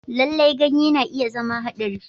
Lallai, ganye na iya zama haɗari.